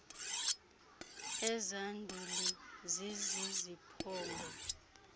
ezaa nduli ziziziphongo